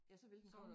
Ja så ville det komme